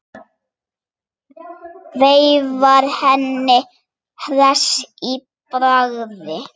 Veifar henni hress í bragði.